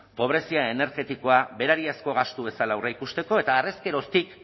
pobrezia energetikoa berariazko gastu bezala aurreikusteko eta harrezkeroztik